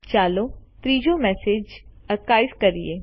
ચાલો ત્રીજો message archive કરીએ